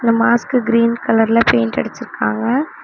Mask green கலர்ல paint அடிச்ருக்காங்க.